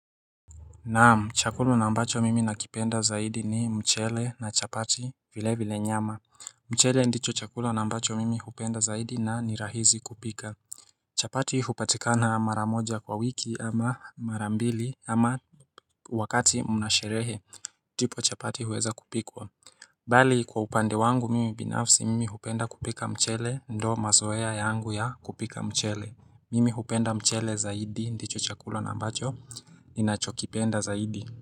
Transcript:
Naam, chakula na ambacho mimi nakipenda zaidi ni mchele na chapati vile vile nyama mchele ndicho chakula na ambacho mimi hupenda zaidi na ni rahizi kupika chapati hupatikana maramoja kwa wiki ama marambili ama wakati mnasherehe ndipo chapati huweza kupikwa Bali kwa upande wangu mimi binafsi mimi hupenda kupika mchele ndo mazoea yangu ya kupika mchele Mimi hupenda mchele zaidi, ndicho chakula na ambacho, ninachokipenda zaidi.